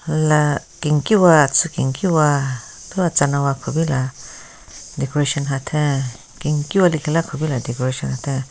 La kenkiwa atsü kimkiwa thu atsuna wa kupila decoration hatheng kenkiwa lekhila kupila decoration hatheng.